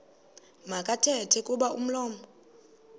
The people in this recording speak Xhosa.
makathethe kuba umlomo